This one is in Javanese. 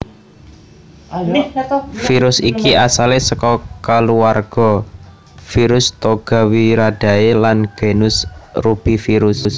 Virus iki asale saka kuluwarga virus Togaviridae lan genus Rubivirus